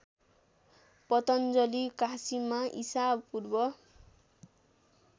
पतञ्जलि काशीमा ईसापूर्व